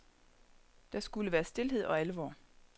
Der skulle være stilhed og alvor.